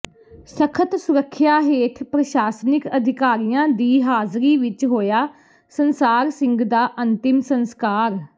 ਸਖ਼ਤ ਸੁਰੱਖਿਆ ਹੇਠ ਪ੍ਰਸ਼ਾਸਨਿਕ ਅਧਿਕਾਰੀਆਂ ਦੀ ਹਾਜ਼ਰੀ ਵਿੱਚ ਹੋਇਆ ਸੰਸਾਰ ਸਿੰਘ ਦਾ ਅੰਤਿਮ ਸੰਸਕਾਰ